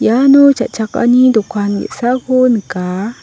uano cha·chakani dokan ge·sako nika.